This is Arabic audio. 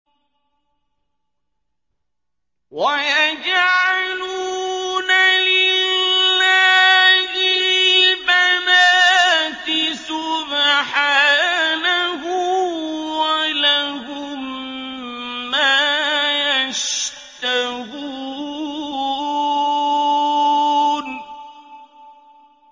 وَيَجْعَلُونَ لِلَّهِ الْبَنَاتِ سُبْحَانَهُ ۙ وَلَهُم مَّا يَشْتَهُونَ